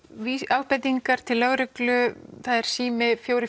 ábendingar til lögreglu það er sími fjögur